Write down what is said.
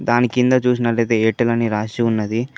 దాని కింద చూసినట్లయితే ఎయిర్టెల్ అని రాసి ఉన్నది.